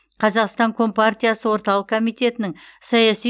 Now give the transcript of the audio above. қазақстан компартиясы орталық комитетінің саяси